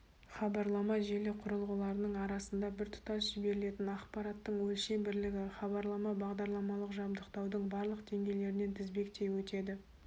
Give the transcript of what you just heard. хабарлама желі құрылғыларының арасында біртұтас жіберілетін ақпараттың өлшем бірлігі хабарлама бағдарламалық жабдықтаудың барлық деңгейлерінен тізбектей өтеді